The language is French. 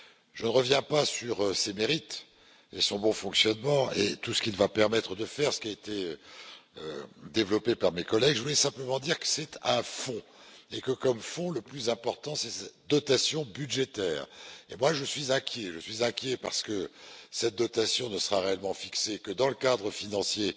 Je ne reviens pas sur ses mérites, ni son bon fonctionnement et tout ce qu'il va permettre de faire, ce qui a été développé par mes collègues. Je voulais simplement dire que c'est un fonds et que, comme fonds, le plus important c'est sa dotation budgétaire et, moi, je suis inquiet. Je suis inquiet, d'abord parce que cette dotation ne sera réellement fixée que dans le cadre financier